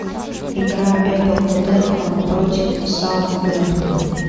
игра апл тоттенхэма против саутгемптона